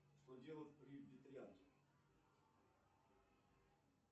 что делать при ветрянке